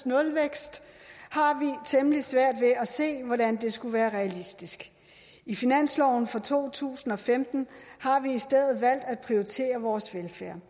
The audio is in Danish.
nulvækst har vi temmelig svært ved at se hvordan det skulle være realistisk i finansloven for to tusind og femten har vi i stedet valgt at prioritere vores velfærd